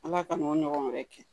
Ala ka n'o ɲɔgɔn wɛrɛ kɛ